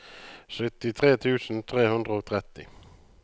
syttitre tusen tre hundre og tretti